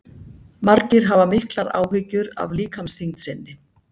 margir hafa miklar áhyggjur af líkamsþyngd sinni